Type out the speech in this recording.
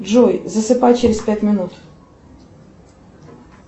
джой засыпай через пять минут